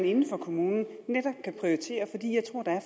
inden for kommunen kan prioritere